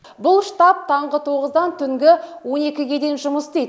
бұл штаб таңғы тоғыздан түнгі он екіге дейін жұмыс істейді